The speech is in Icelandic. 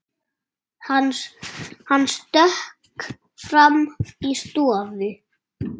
Hann stökk fram í stofu.